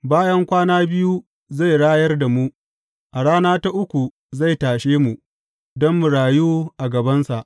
Bayan kwana biyu zai rayar da mu, a rana ta uku zai tashe mu, don mu rayu a gabansa.